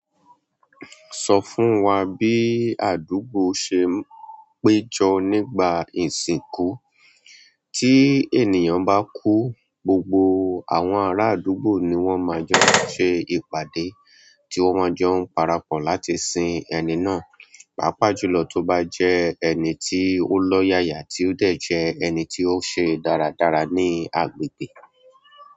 Sọ fún wa bí àdúgbò ṣe ń péjọ nígbà ìsìnkú. Tí ènìyàn bá kú, gbogbo àwọn ará àdúgbò ni wọ́n máa jọ ṣẹ ìpàdé tí wọ́n jọ ń parapọ̀ láti sin ẹni náà, pàápàá jùlọ tó bá jẹ́ ẹni tí ó lọ́ yaya tí ó dẹ̀ jẹ́ ẹni tí ó ṣe dáradára ní agbègbè.